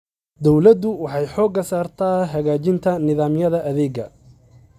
Dawladdu waxay xoogga saartaa hagaajinta nidaamyada adeegga.